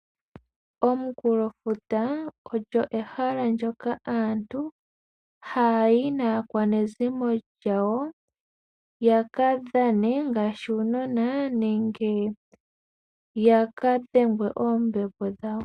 Omunkulofuta olyo ehala ndjoka aantu haya yi naakwanezimo lyawo yaka dhane ngaashi uunona nenge yaka dhengwe oombepo dhawo.